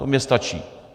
To mně stačí.